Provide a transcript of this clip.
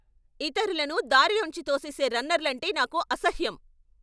ఇతరులను దారిలోంచి తోసేసే రన్నర్లంటే నాకు అసహ్యం.